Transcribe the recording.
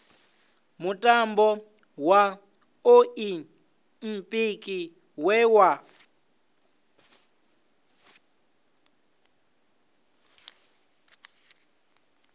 mutambo wa oḽimpiki we wa